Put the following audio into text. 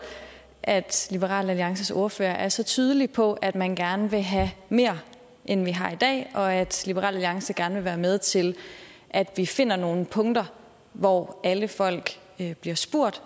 at liberal alliances ordfører er så tydelig på at man gerne vil have mere end vi har i dag og at liberal alliance gerne vil være med til at vi finder nogle punkter hvor alle folk bliver spurgt